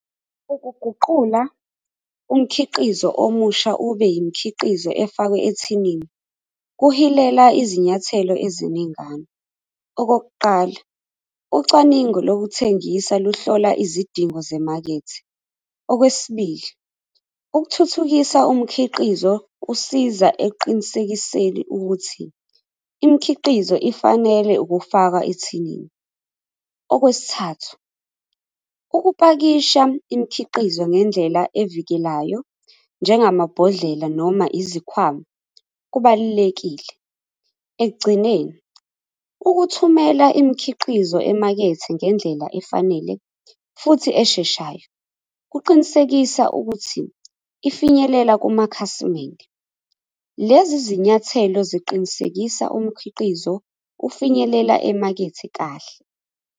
Ukuguqula umkhiqizo omusha ube yimikhiqizo efakwe ethinini kuhilela izinyathelo eziningana. Okokuqala ucwaningo lokuthengisa lokuhlola izidingo semakethe. Okwesibili, ukuthuthukisa umkhiqizo kusiza ekuqinisekiseni ukuthi imikhiqizo ifanele ukufakwa ethinini. Okwesithathu, ukupakisha imikhiqizo ngendlela evikelayo njengamabhodlela noma izikhwama kubalulekile. Ekugcineni, ukuthumela imikhiqizo emakethe ngendlela efanele futhi esheshayo kuqinisekisa ukuthi ifinyelela kumakhasimende. Lezi zinyathelo ziqinisekisa umkhiqizo ukufinyelela emakethe kahle.